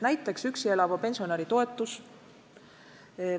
Näiteks üksi elava pensionäri toetus.